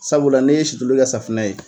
Sabula ni ye situlu kɛ safunɛ ye.